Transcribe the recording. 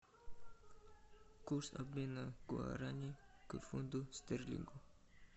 курс обмена гуарани к фунту стерлингу